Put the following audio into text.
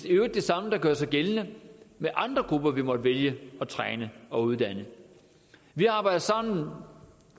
øvrigt det samme der gør sig gældende med andre grupper vi måtte vælge at træne og uddanne vi arbejder sammen